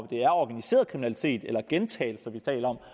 det er organiseret kriminalitet eller gentagelser vi taler om